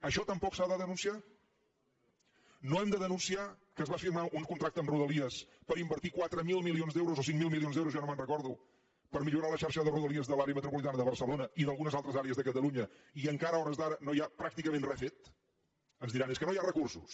això tampoc s’ha de denunciar no hem de denunciar que es va firmar un contracte amb rodalies per invertir quatre mil milions d’euros o cinc mil milions d’euros ja no me’n recordo per millorar la xarxa de rodalia de l’àrea metropolitana de barcelona i d’algunes altres àrees de catalunya i encara a hores d’ara no hi ha pràcticament res fet ens diran és que no hi ha recursos